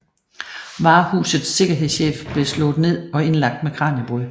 Varehusets sikkerhedschef blev slået ned og indlagt med kraniebrud